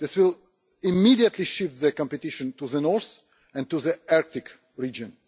This will immediately shift the competition to the north and to the Arctic region.